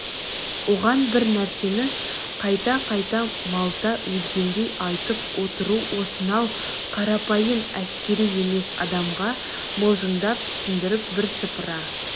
оған бір нәрсені қайта-қайта малта езгендей айтып отыру осынау қарапайым әскери емес адамға мылжыңдап түсіндіріп бірсыпыра